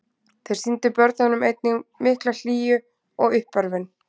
Þeir sýndu börnunum einnig mikla hlýju og uppörvun.